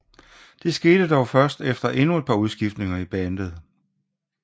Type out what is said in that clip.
Det skete dog først efter endnu et par udskiftninger i bandet